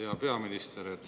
Hea peaminister!